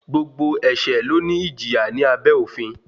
Gbogbo ẹ̀ṣẹ̀ ló ní ìjìyà ní abẹ́ òfin.